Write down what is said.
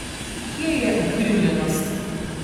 Kje je ukrivljenost?